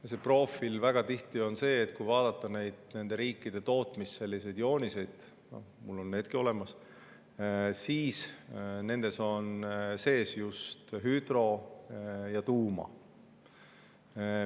Ja nende profiil on väga tihti selline, kui vaadata nende riikide tootmisjooniseid – mul on needki olemas –, et nendes on sees just hüdro‑ ja tuuma.